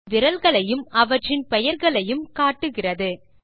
அது விரல்களையும் அவற்றின் பெயர்களையும் காட்டுகிறது